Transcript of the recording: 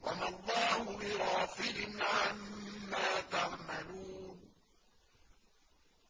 وَمَا اللَّهُ بِغَافِلٍ عَمَّا تَعْمَلُونَ